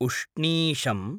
उष्णीषम्